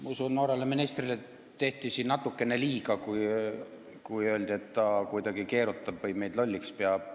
Ma usun, et noorele ministrile tehti siin natukene liiga, kui öeldi, et ta kuidagi keerutab või meid lolliks peab.